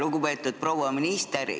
Lugupeetud proua minister!